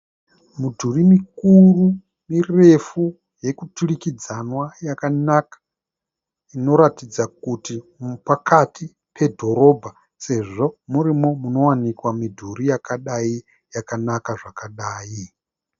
Mudhuri mikuru mirefu yekuturikidzanwa yakanaka inoratidza kuti pakati pedhorobha sezvo murimo munowanikwa midhuri yakadai yakanaka zvakadai.